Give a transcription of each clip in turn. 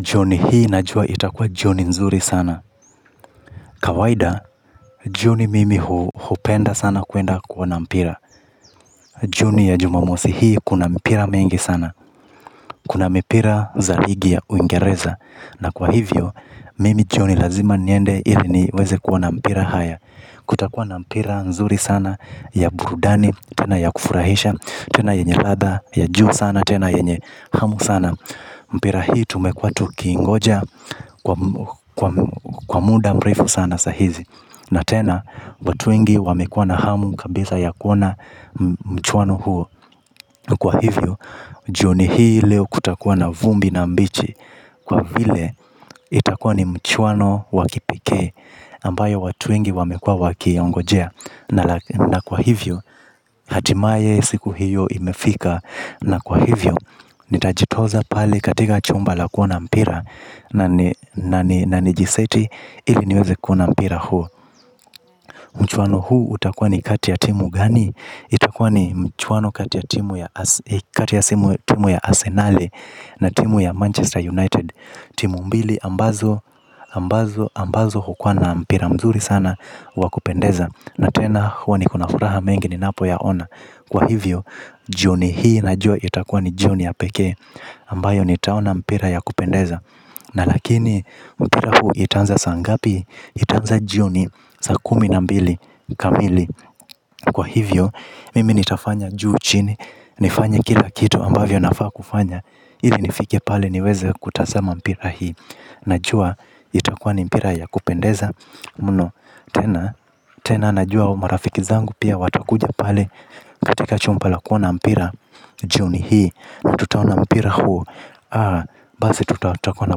Jioni hii najua itakua. Jioni nzuri sana. Kawaida jioni mimi hupenda sana kuenda kuona mpira. Jioni ya jumamosi hii kuna mpira mengi sana. Kuna mpira za rigi ya uingereza. Na kwa hivyo mimi jioni lazima niende ili niweze kuona mpira haya. Kutakua na mpira nzuri sana ya burudani. Tena ya kufurahisha. Tena yenye ladha ya juu sana. Tena yenye hamu sana. Mpira hii tumekua tukiingoja kwa muda mrefu sana sa hizi. Na tena, watu wengi wamekua na hamu kabisa ya kuona mchuano huo. Kwa hivyo, jioni hii leo kutakuwa na vumbi na mbichi. Kwa vile, itakuwa ni mchuano wa kipekee ambayo watu wengi wamekua wakiongojea. Na kwa hivyo, hatimaye siku hiyo imefika. Na kwa hivyo, nitajitoza pali katika chumba la kuona mpira na nijiseti ili niweze kuona mpira huo. Mchuano huu utakua ni kati ya timu gani? Itakua ni mchuano kati ya timu ya Asenale na timu ya Manchester United. Timu mbili ambazo hukuwa na mpira mzuri sana wa kupendeza na tena huwa niko na furaha mengi ninapoyaona kwa hivyo jioni hii najua itakuwa ni jioni ya pekee ambayo nitaona mpira ya kupendeza. Na lakini, mpira huu itaanza saa ngapi. Itaanza jioni saa kumi na mbili kamili. Kwa hivyo, mimi nitafanya juu chini. Nifanye kila kitu ambavyo nafaa kufanya. Ili nifike pale niweze kutazama mpira hii. Najua itakua ni mpira ya kupendeza. Mno, tena, tena najua marafiki zangu pia watakuja pale. Katika chumba la kuona mpira jioni hii. Na tutaona mpira huo. Basi tutakuwa na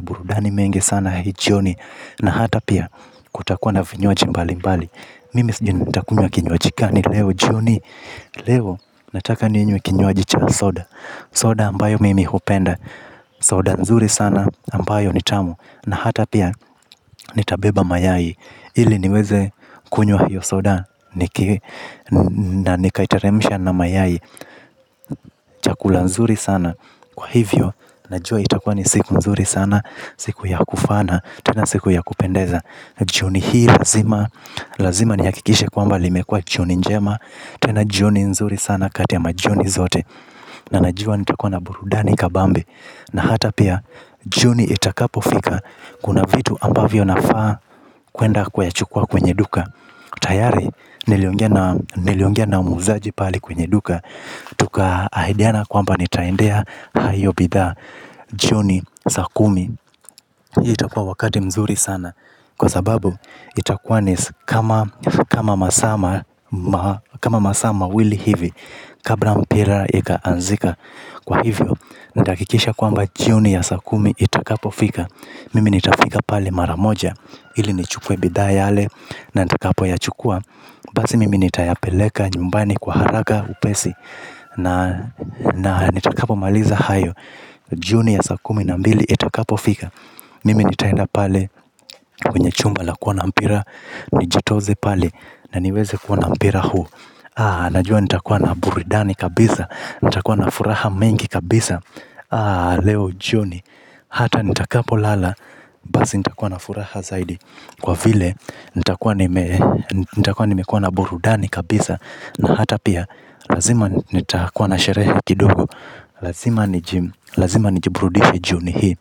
burudani mengi sana hii jioni. Na hata pia kutakuwa na vinywaji mbali mbali. Mimi sijui nitakunywa kinywaji gani leo jioni. Leo nataka ninywe kinywaji cha soda. Soda ambayo mimi hupenda. Soda nzuri sana ambayo ni tamu. Na hata pia nitabeba mayai. Ili niweze kunywa hiyo soda. Na nikaiteremsha na mayai chakula nzuri sana. Kwa hivyo najua itakua ni siku nzuri sana. Siku ya kufana. Tena siku ya kupendeza. Jioni hii lazima. Lazima nihakikishe kwamba limekua jioni njema. Tena jioni nzuri sana kati ama jioni zote. Na najua nitakua na burudani kabambe. Na hata pia jioni itakapofika. Kuna vitu ambavyo nafaa. Kuenda kuyachukua kwenye duka. Tayari niliongea na muuzaji pale kwenye duka. Tukaahidiana kwamba nitaendea hayo bidhaa jioni saa kumi. Itakuwa wakati mzuri sana. Kwa sababu itakuwa ni si kama masaa mawili hivi. Kabra mpira ikaanzika. Kwa hivyo nitahakikisha kwamba jioni ya saa kumi itakapofika. Mimi nitafika pale mara moja. Ili nichukue bidhaa yale na nitakapoyachukua. Basi mimi nitayapeleka nyumbani kwa haraka upesi. Na nitakapomaliza hayo. Jioni ya saa kumi na mbili itakapofika. Mimi nitaenda pale kwenye chumba la kuona mpira. Nijitoze pale na niweze kuona mpira huu A, najua nitakua na burudani kabisa. Nitakuwa na furaha mengi kabisa leo jioni hata nitakapolala basi nitakuwa na furaha zaidi kwa vile nitakuwa nimekuwa na burudani kabisa na hata pia lazima nitakuwa na sherehe kidogo lazima niji. Lazima nijiburudishe jioni hii.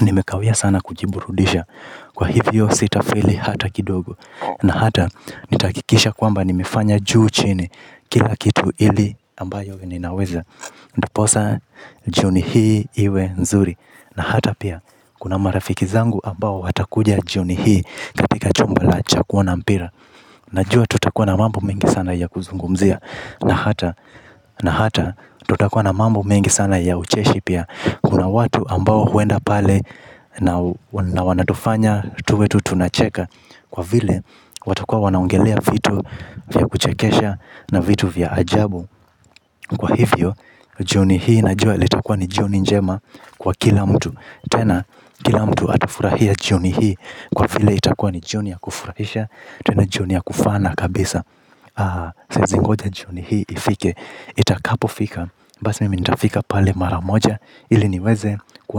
Nimekawia sana kujiburudisha. Kwa hivyo sitafeli hata kidogo. Na hata, nitahakikisha kwamba nimefanya juu chini. Kila kitu ili ambayo ninaweza. Ndiposa jioni hii iwe nzuri. Na hata pia kuna marafiki zangu ambao watakuja jioni hii katika chumba la cha kuona mpira. Najua tutakua na mambo mengi sana ya kuzungumzia. Na hata tutakua na mambo mengi sana ya ucheshi pia. Kuna watu ambao huenda pale na wanatufanya tuwe tu tunacheka. Kwa vile watakua wanaongelea vitu vya kuchekesha na vitu vya ajabu. Kwa hivyo jioni hii najua itakuwa ni jioni njema kwa kila mtu tena kila mtu atafurahia jioni hii kwa vile itakuwa ni jioni ya kufurahisha tena jioni ya kufana kabisa. Siezi ngoja jioni hii ifike. Itakapofika. Basi mimi nitafika pale mara moja. Ili niweze kuona.